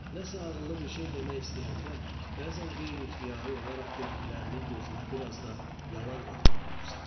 Nəsə ağıllı bir şey demək istəyəndə, bəzən qeyri-ixtiyari olaraq dediklərinin gözünə bir az da yalan qatmalı olursan.